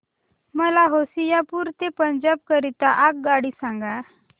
मला होशियारपुर ते पंजाब करीता आगगाडी सांगा